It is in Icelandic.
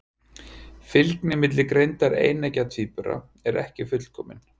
Fylgni milli greindar eineggja tvíbura er ekki fullkomin.